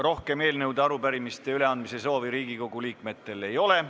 Rohkem eelnõude ja arupärimiste üleandmise soovi Riigikogu liikmetel ei ole.